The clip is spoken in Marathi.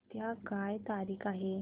उद्या काय तारीख आहे